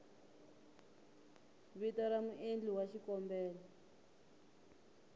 vito ra muendli wa xikombelo